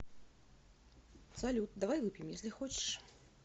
салют давай выпьем если хочешь